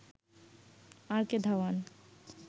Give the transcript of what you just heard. আর K Dhawan